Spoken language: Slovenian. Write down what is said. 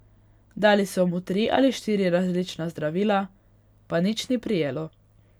Dali so mu tri ali štiri različna zdravila, pa ni nič prijelo.